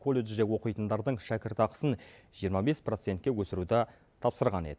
колледжде оқитындардың шәкіртақысын жиырма бес процентке өсіруді тапсырған еді